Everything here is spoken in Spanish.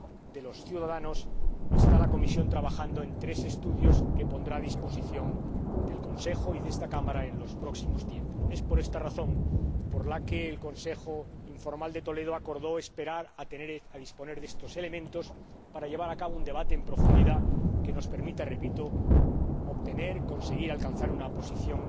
de los ciudadanos, está la Comisión trabajando en tres estudios que pondrá a disposición del Consejo y de esta Cámara próximamente. Por esta razón, el Consejo informal de Toledo acordó esperar a que se disponga de estos elementos para llevar a cabo un debate en profundidad que nos permita obtener, conseguir, alcanzar una posición